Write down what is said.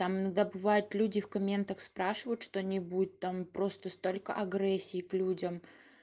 там иногда бывает люди в комментах спрашивают что-нибудь там просто столько агрессии к людям